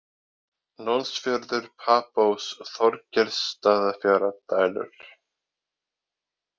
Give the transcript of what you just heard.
Lónsfjörður, Papós, Þorgeirsstaðafjara, Dælur